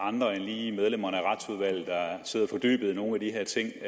andre end lige medlemmerne af retsudvalget der sidder fordybet i nogle af de her ting